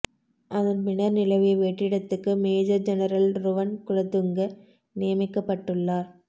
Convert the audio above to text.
அதன்பின்னர் நிலவிய வெற்றிடத்துக்கு மேஜர் ஜெனரல் ருவன் குலதுங்க நியமிக்கப்பட்டுள்ளார்